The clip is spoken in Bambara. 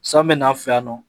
San bɛ n'an fɛ yan nɔ